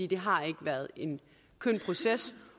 det har ikke været en køn proces